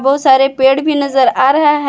बहुत सारे पेड़ भी नजर आ रहा है।